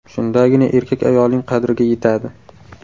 Shundagina erkak ayolining qadriga yetadi.